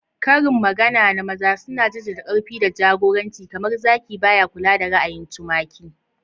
Karin magana na maza suna jaddada ƙarfi da jagoranci, kamar "Zaki ba ya kula da ra'ayin tumaki."